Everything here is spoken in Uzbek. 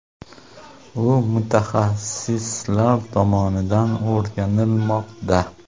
U mutaxassislar tomonidan o‘rganilmoqda.